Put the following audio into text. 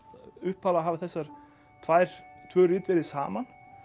upphaflega hafa þessi tvö tvö rit verið saman